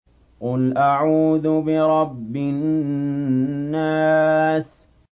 قُلْ أَعُوذُ بِرَبِّ النَّاسِ